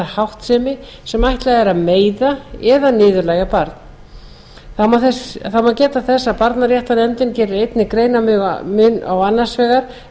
háttsemi sem ætlað er að meiða eða niðurlægja barn þá má geta þess að barnaréttarnefndin gerir einnig greinarmun á annars vegar